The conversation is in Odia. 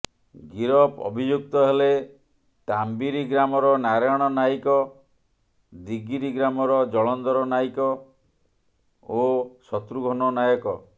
ଗିରଫ ଅଭିଯୁକ୍ତ ହେଲେ ତାମ୍ବିରି ଗ୍ରାମର ନାରାୟଣ ନାଇକ ଦିଗିରି ଗ୍ରାମର ଜଳନ୍ଧର ନାୟକ ଓ ଶତ୍ରୁଘନ ନାୟକ